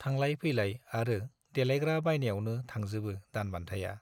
थांलाय -फैलाय आरो देलायग्रा बायनायावनो थांजोबो दानबान्थाया।